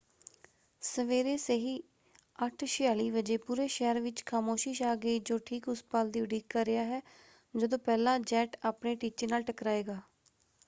ਸਵੇਰੇ ਸਹੀ 8:46 ਵਜੇ ਪੂਰੇ ਸ਼ਹਿਰ ਵਿੱਚ ਖਾਮੋਸ਼ੀ ਛਾ ਗਈ ਜੋ ਠੀਕ ਉਸ ਪਲ ਦੀ ਉਡੀਕ ਕਰ ਰਿਹਾ ਹੈ ਜਦੋਂ ਪਹਿਲਾ ਜੈੱਟ ਆਪਣੇ ਟੀਚੇ ਨਾਲ ਟਕਰਾਏਗਾ।